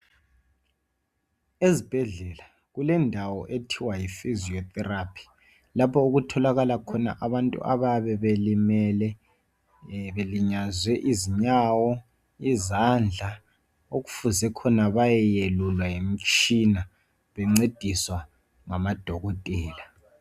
Ezibhedlela kulendawo ethiwa yifiziyotherapi lapho okutholakala khona abantu abayabe belimele belinyazwe izinyawo, izandla okufuze khona bayeyelulwa yimitshina bencediswa ngamadokotela.